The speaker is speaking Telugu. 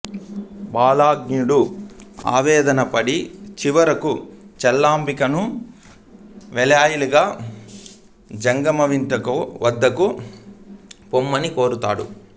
భల్లాణుడు ఆవేదన పడి చివరకు చల్లాంబికను వెలయాలిగా జంగమవిటుని వద్దకు పొమ్మని కోరుతాడు